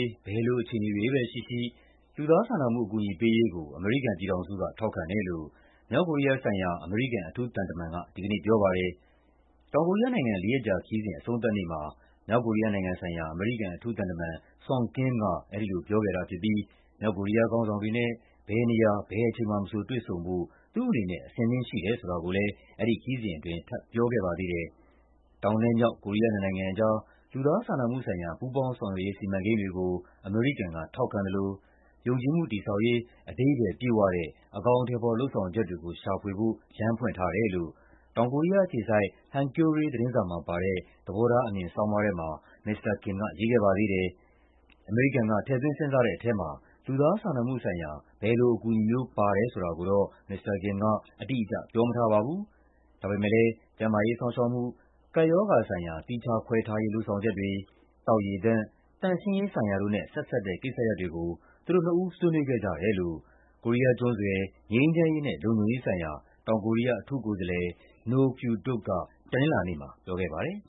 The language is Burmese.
း ဘယ်လိုအခြေအနေတွေပဲရှိရှိ လူသားစာနာမှု အကူအညီပေးရေးကို အမေရိကန်က ထောက်ခံတယ်လို့ မြောက်ကိုရီးယားဆိုင်ရာ အမေရိကန် အထူးသံတမန်က ဒီကနေ့ပြောပါတယ်။ တောင်ကိုရီးယားနိုင်ငံ လေးရက်ကြာခရီးစဉ် အဆုံးသတ်နေ့မှာ အထူးသံတမန် Sung Kim က အဲဒီလိုပြောခဲ့တာဖြစ်ပြီး မြောက်ကိုရီးယားခေါင်းဆောင်တွေနဲ့ ဘယ်နေရာ ဘယ်အချိန်မှာမဆို တွေ့ဆုံဖို့ သူ့အနေနဲ့ အဆင်သင့်ရှိတယ်ဆိုတာကိုလည်း ဒီခရီးစဉ်အတွင်း ထပ်ပြောခဲ့ပါသေးတယ်။ တောင် မြောက် ကိုရီးယားနှစ်နိုင်ငံကြား လူသားစာနာမှုဆိုင်ရာ ပူးပေါင်းဆောင်ရွက်ရေး စီမံကိန်းတွေကို အမေရိကန်က ထောက်ခံသလို ယုံကြည်မှုတည်ဆောက်ရေး အဓိပ္ပါယ်ပြည့်ဝတဲ့ အကောင်အထည်ဖော် လုပ်ဆောင်ချက်တွေကို ရှာဖွေဖို့ လမ်းဖွင့်ထားတယ်လို့ တောင်ကိုရီးယားအခြေစိုက် Hankyoreh သတင်းစာမှာပါတဲ့ သဘောထားအမြင်ဆောင်းပါးထဲမှာ မစ္စတာ Kim က ရေးခဲ့ပါသေးတယ်။ အမေရိကန်က ထည့်သွင်းစဉ်းစားတဲ့ထဲမှာ လူသားစာနာမှုဆိုင်ရာ ဘယ်လိုအကူအညီမျိုး ပါတယ်ဆိုတာကိုတော့ မစ္စတာ Kim အတိအကျ ပြောမထားပါဘူး။ ဒါပေမယ့် ကျန်းမာရေးစောင့်ရှောက်မှု၊ ကပ်ရောဂါဆိုင်ရာ သီးခြားခွဲထားရေး လုပ်ဆောင်ချက်တွေ၊ သောက်ရေသန့်၊ သန့်ရှင်းရေးဆိုင်ရာတို့နဲ့ ဆက်စပ်တဲ့ကိစ္စရပ်တွေကို သူတို့နှစ်ဦး ဆွေးနွေးခဲ့ကြတယ်လို့ ကိုရီးယားကျွန်းဆွယ် ငြိမ်းချမ်းရေးနဲ့ လုံခြုံရေးဆိုင်ရာ တောင်ကိုရီးယားအထူးကိုယ်စားလှယ် Noh Kyu-duk က တနင်္လာနေ့မှာ ပြောခဲ့ပါတယ်